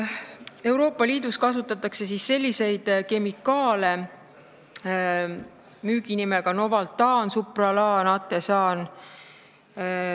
Euroopa Liidus kasutatakse selliste müüginimedega kemikaale: Novaltan, Supralan, Atesan.